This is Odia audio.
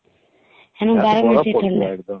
ହେନେ ବାହୀର ବେଶୀ ଥଣ୍ଡା